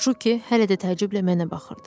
Şuki hələ də təəccüblə mənə baxırdı.